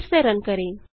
फिर से रन करें